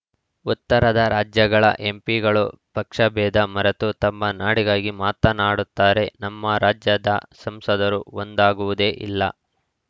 ಉತ್ತರದ ರಾಜ್ಯಗಳ ಎಂಪಿಗಳು ಪಕ್ಷಭೇದ ಮರೆತು ತಮ್ಮ ನಾಡಿಗಾಗಿ ಮಾತನಾಡುತ್ತಾರೆ ನಮ್ಮ ರಾಜ್ಯದ ಸಂಸದರು ಒಂದಾಗುವುದೇ ಇಲ್ಲ